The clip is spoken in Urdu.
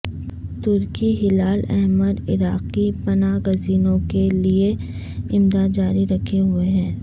ترکی ہلال احمر عراقی پناگزینوں کے لئے امداد جاری رکھے ہوئے ہے